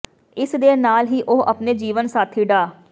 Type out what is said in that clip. ਇਸ ਦੇ ਨਾਲ ਹੀ ਉਹ ਆਪਣੇ ਜੀਵਨ ਸਾਥੀ ਡਾ